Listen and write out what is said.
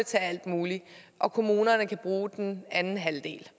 til alt muligt og kommunerne kan bruge den anden halvdel